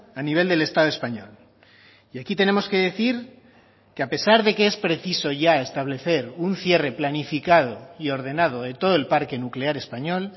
a nivel del estado español y aquí tenemos que decir que a pesar de que es preciso ya establecer un cierre planificado y ordenado de todo el parque nuclear español